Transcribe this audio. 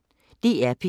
DR P1